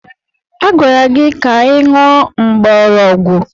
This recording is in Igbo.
Agwara gị ka ị ṅụọ mgbọrọgwụ!